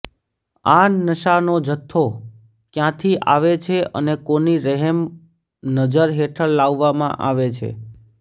આ નશાનો જથ્થો કયાંથી આવે છે અને કોની રહેમ નજર હેઠળ લાવવામાં આવે છે